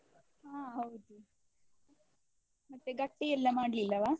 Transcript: ಹಾ ಹೌದು, ಮತ್ತೆ ಗಟ್ಟಿ ಎಲ್ಲ ಮಾಡ್ಲಿಲ್ಲವಾ?